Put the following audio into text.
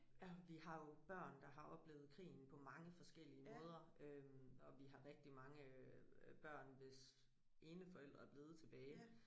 Ja vi har jo børn der har oplevet krigen på mange forskellige måder øh og vi har rigtig mange øh børn hvis ene forælder er blevet tilbage